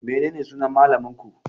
Menene sunan malamin ku?